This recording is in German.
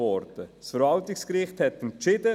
Das Verwaltungsgericht hat entschieden.